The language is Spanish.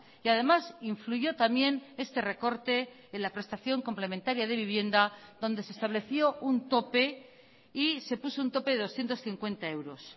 y además influyó también este recorte en la prestación complementaria de vivienda donde se estableció un tope y se puso un tope de doscientos cincuenta euros